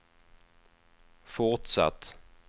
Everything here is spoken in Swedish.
fortsatt